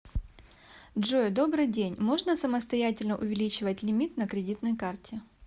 джой добрый день можно самостоятельно увеличивать лимит на кредитной карте